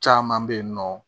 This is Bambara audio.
Caman bɛ yen nɔ